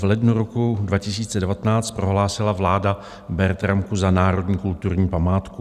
V lednu roku 2019 prohlásila vláda Bertramku za národní kulturní památku.